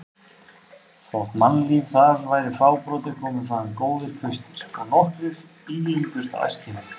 Þótt mannlíf þar væri fábrotið komu þaðan góðir kvistir og nokkrir ílengdust á Eskifirði.